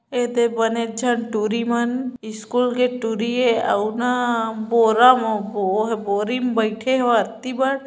एते बने चक टूरी मन स्कूल के टूरी ये आऊ न बोरा म बोरी म बैठे है व एति बर --